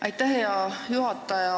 Aitäh, hea juhataja!